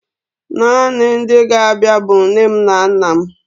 Naanị ndị ga-abịa bụ nne m na nna m.